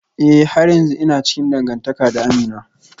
Eh har yanzu ina cikin dangantaka da Amina